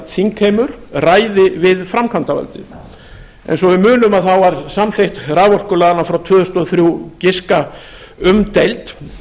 þingheimur ræði við framkvæmdarvaldið eins og við munum var samþykkt raforkulaganna frá tvö þúsund og þrjú giska umdeild